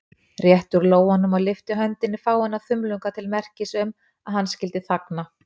Rétti úr lófanum og lyfti höndinni fáeina þumlunga til merkis um, að hann skyldi þagna.